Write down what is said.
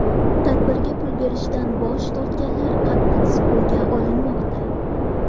Tadbirga pul berishdan bosh tortganlar qattiq siquvga olinmoqda.